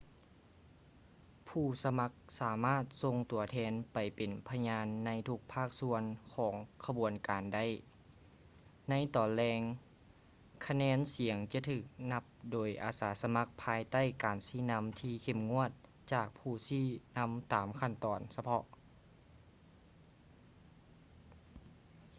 ຜູ້ສະໝັກສາມາດສົ່ງຕົວແທນໄປເປັນພະຍານໃນທຸກພາກສ່ວນຂອງຂະບວນການໄດ້ ໃນຕອນແລງ ຄະແນນສຽງຈະຖືກນັບໂດຍອາສາສະໝັກພາຍໃຕ້ການຊີ້ນຳທີ່ເຂັ້ມງວດຈາກຜູ້ຊີ້ນໍາຕາມຂັ້ນຕອນສະເພາະ